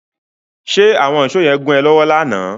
Ṣe àwọn ìsó yẹn gún ẹ lọ́wọ́ lánàá?